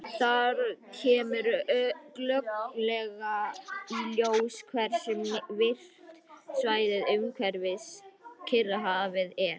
Þar kemur glögglega í ljós hversu virkt svæðið umhverfis Kyrrahafið er.